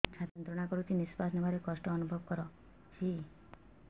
ଛାତି ଯନ୍ତ୍ରଣା କରୁଛି ନିଶ୍ୱାସ ନେବାରେ କଷ୍ଟ ଅନୁଭବ କରୁଛି